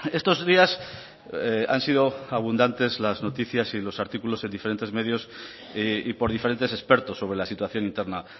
estos días han sido abundantes las noticias y los artículos en diferentes medios y por diferentes expertos sobre la situación interna